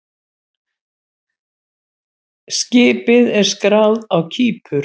Skipið er skráð á Kípur.